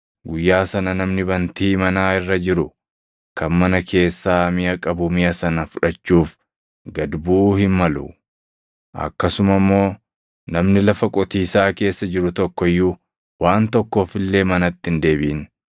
Guyyaa sana namni bantii manaa irra jiru kan mana keessaa miʼa qabu miʼa sana fudhachuuf gad buʼuu hin malu. Akkasuma immoo namni lafa qotiisaa keessa jiru tokko iyyuu waan tokkoof illee manatti hin deebiʼin.